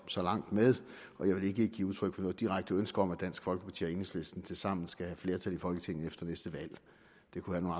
så langt med jeg vil ikke give udtryk for noget direkte ønske om at dansk folkeparti og enhedslisten tilsammen skal have flertal i folketinget efter næste valg det kunne